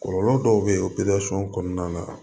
Kɔlɔlɔ dɔw bɛ yen o kɔnɔna na